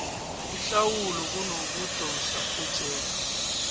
ihlawulo kunokudosa ejele